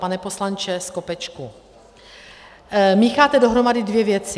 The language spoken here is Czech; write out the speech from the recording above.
Pane poslanče Skopečku, mícháte dohromady dvě věci.